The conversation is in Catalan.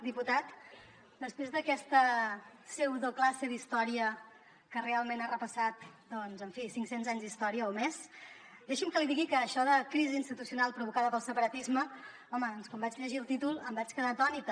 diputat després d’aquesta pseudoclasse d’història que realment ha repassat doncs en fi cinc cents anys d’història o més deixi’m que li digui que això de crisi institucional provocada pel separatisme home doncs quan vaig llegir el títol em vaig quedar atònita